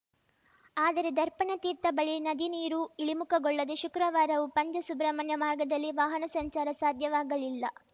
ಆದರೆ ದರ್ಪಣ ತೀರ್ಥ ಬಳಿ ನದಿನೀರು ಇಳಿಮುಖಗೊಳ್ಳದೆ ಶುಕ್ರವಾರವೂ ಪಂಜಸುಬ್ರಹ್ಮಣ್ಯ ಮಾರ್ಗದಲ್ಲಿ ವಾಹನ ಸಂಚಾರ ಸಾಧ್ಯವಾಗಲಿಲ್ಲ